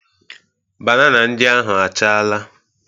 Banana ndị ahụ achaala.